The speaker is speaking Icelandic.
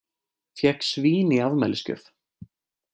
Fékk svín í afmælisgjöf